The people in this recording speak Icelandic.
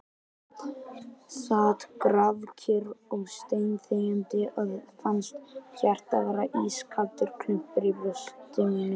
Sat grafkyrr og steinþegjandi og fannst hjartað vera ískaldur klumpur í brjósti mínu ...